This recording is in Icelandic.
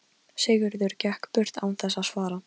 Sigurður gekk burt án þess að svara.